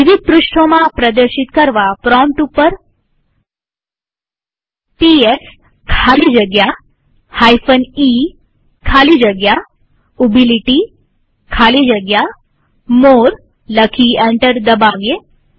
વિવિધ પૃષ્ઠોમાં પ્રદર્શિત કરવા પ્રોમ્પ્ટ ઉપર ખાલી જગ્યા મોરે લખી એન્ટર દબાવીએ